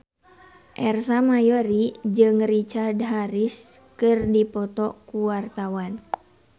Ersa Mayori jeung Richard Harris keur dipoto ku wartawan